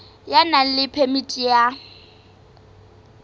ya nang le phemiti ya